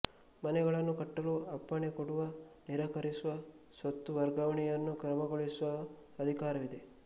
ಮನೆಗಳನ್ನು ಕಟ್ಟಲು ಅಪ್ಪಣೆ ಕೊಡುವ ನಿರಾಕರಿಸುವ ಸ್ವತ್ತು ವರ್ಗಾವಣೆಯನ್ನು ಕ್ರಮಗೊಳಿಸುವ ಅಧಿಕಾರವಿದೆ